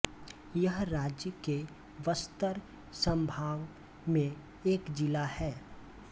यह राज्य के बस्तर संभाग में एक जिला है